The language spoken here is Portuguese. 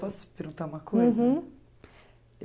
Posso perguntar